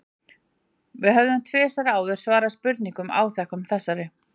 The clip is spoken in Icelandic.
Við höfum tvisvar áður svarað spurningum áþekkum þessari.